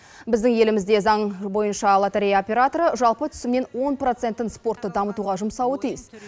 біздің елімізде заң бойынша лотерея операторы жалпы түсімнен он процентін спортты дамытуға жұмсауы тиіс